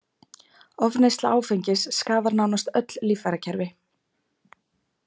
Ofneysla áfengis skaðar nánast öll líffærakerfi